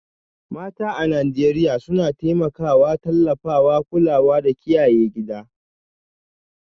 Mata a Najeriya suna taimakawa, tallafawa, kulawa da kiyaye gida